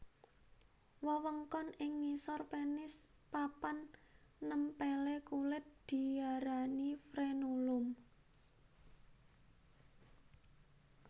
Wewengkon ing ngisor pénis papan nèmpèlé kulit diaranifrenulum